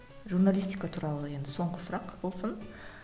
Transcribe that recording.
журналистика туралы енді соңғы сұрақ болсын